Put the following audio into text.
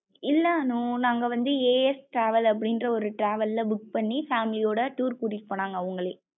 இல்ல அனு நாங்க வந்து as travel அப்படின்ற ஒரு travel ல book பன்னி family யோட tour கூட்டிட்டு போனாங்க அவுங்களே.